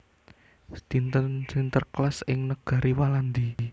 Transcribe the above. Dinten Sinterklaas ing negari Walandi